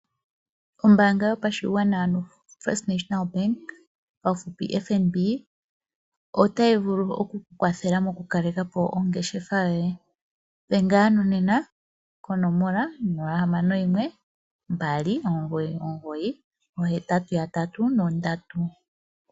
Ombaanga yopashigwana, ano FNB otayi vulu oku ku kwathelela mokukaleka po ongeshefa yoye. Dhenga nena ko 061 2998883.